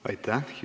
Aitäh!